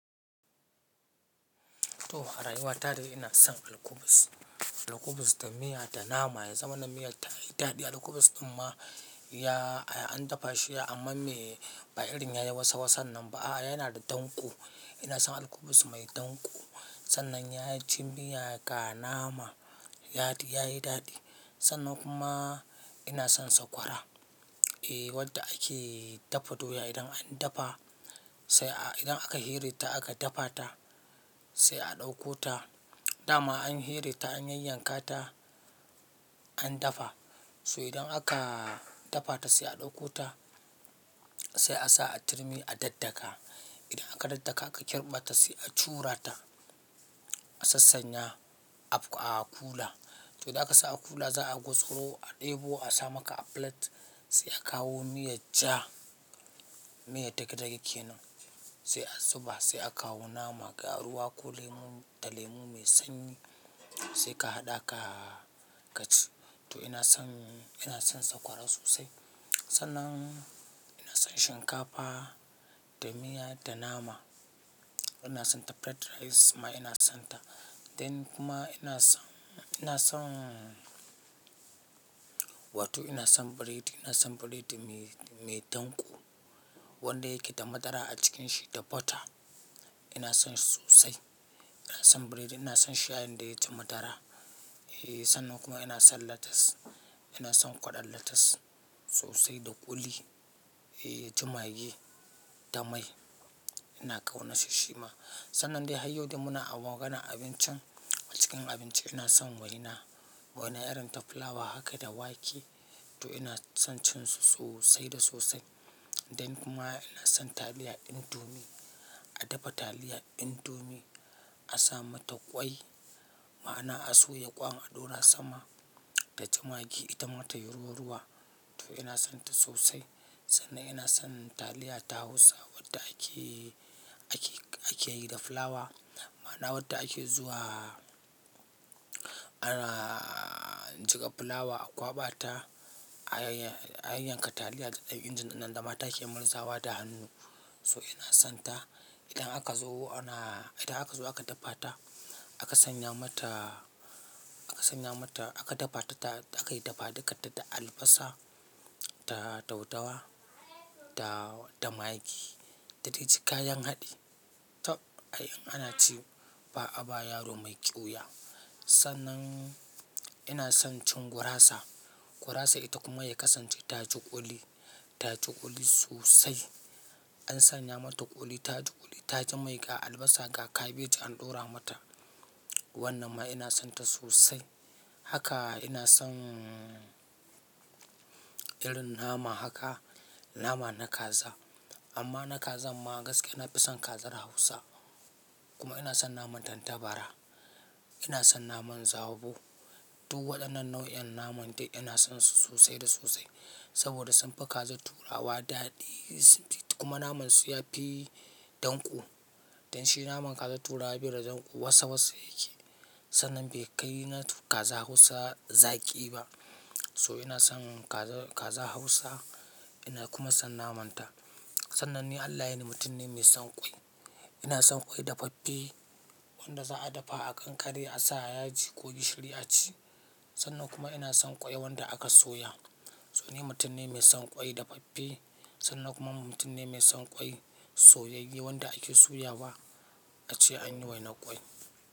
To a rayuwa ta dai ina son alkubus. Alkubus da miya da nama ya zama na miyar tayi daɗi. Alkubus amma ya an dafa shi amma mai ba irin yayi wasa wasan nan ba. Ah yana da danƙo. Ina son alkubus mai danko. Sannan yaji miya ga nama yayi daɗi. Sannan kuma ina son sakwara. Eh wanda ake dafa doya idan an dafa sai a idan aka hire ta aka dafa ta sai a ɗauko ta. Da ma an here ta an yanyanka ta an dafa so idan aka dafa ta sai a ɗauko ta sai a sa a turmi a daddaka. Idan aka daddaka aka kirɓa ta sai a curata, a sassanya, a kula. To da aka sa a kula za a gutsuro a ɗebo a sa maka a plate sai a kawo miyar ja, miya dage-dage kenan sai a zuba sai a kawo nama, ga ruwa ko lemu da lemu mai sanyi sai ka haɗa ka ka ci. To ina son ina son sakwara sosai. Sannan ina son shinkafa da miya da nama. Ina son ta fried rice kuma ina son ta. Then kuma ina son ina son wato ina son biredi. Ina son biredi mai mai danƙo wanda yake da madara a cikin shi da butter. Ina son shi sosai. Ina son biredi. Ina son shayin da yaji madara. Eh sannan kuma ina son lettuce. Ina son kwaɗon lettuce sosai da kuli, yaji magi da mai. Ina ƙaunar shi shi ma. Sannan dai har yau dai muna a maganan abincin a cikin abinci ina son waina. Waina irin ta fulawa haka da wake. To ina son cin su sosai da sosai. Then kuma ina son taliya indomie. A dafa taliya indomie, a sa mata ƙwai ma'ana a soya ƙwan a ɗora sama taji magi ita mata yayi ruwa ruwa. To ina son ta sosai. Sannan ina son taliya ta Hausa wadda ake ake ake yi da fulawa ma'ana wadda ake zuwa ana jiƙa fulawa a ƙwaɓa ta, a yanyanka taliya da ɗan injin nan da mata ke muezawa da hannu. So ina son ta. Idan aka zo ana idan aka zo aka dafa ta, aka sanya mata aka sanya mata aka dafa ta ta aka yi dafa duka da albasa da daudawa da da magi da dai ci kayan haɗi. Taɓ ai in ana ci ba a ba yaro mai ƙiwuya. Sannan ina son cin gurasa. Gurasa ita kuma ya kasance ta ji kuli, ta ji ƙuli sosai. An sanya mata ƙuli ta ji ƙuli, ta ji mai ga albasa ga kabeji an ɗora mata. Wannan ma ina son ta sosai. Haka ina son irin nama haka nama na kaza. Amma na kaza ma gaskiya na fi son kazar Hausa. Kuma ina son naman tantabara. Ina son naman zabo. Duk aɗannan nau'in naman dai ina son su sosai da sosai saboda sun fi kazar turawa daɗi. Kuma naman su yafi danƙo. Dan shi naman kazar turawa bai da danko wasa wasa yake. Sannan bai kai na kaza Hausa zaƙi ba. So ina son kaza kaza Hausa ina kuma son naman ta. Sannan ni Allah ya ni mutum ne mai son ƙwai. Ina son ƙwai dafaffe wanda za a dafa a kankare a sa yaji ko gishiri a ci. Sannan kuma ina son ƙwai wanda aka soya. So ni mutum ne mai son ƙwai dafaffe sannan kuma mutum ne mai son ƙwai soyayye wanda ake soya ba a ce an yi waina ƙwai.